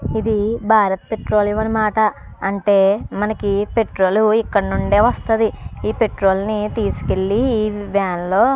ఇది భారత్ పెట్రోలు అనమాట. అంటే మనకి పెట్రోలు ఇక్కడ నుండే వస్తది. ఈ పెట్రోల్ని తీసుకెళ్ళి వాన్లో --